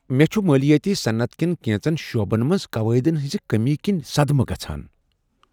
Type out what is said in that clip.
مےٚ چھٗ مٲلیاتی صنعت کٮ۪ن کینژن شعبن منٛز قواعدٕن ہنزِ كمی كِنہِ صدمہٕ گژھان۔